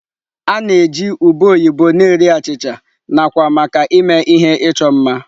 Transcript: A na-eji ube oyibo na-eri achịcha, nakwa maka ịme ihe ịchọ mma.